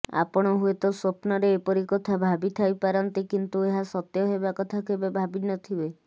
ଆପଣ ହୁଏତ ସ୍ୱପ୍ନରେ ଏପରି କଥା ଭାବିଥାଇପାରନ୍ତି କିନ୍ତୁ ଏହା ସତ୍ୟ ହେବା କଥା କେବେ ଭାବିନଥିବେ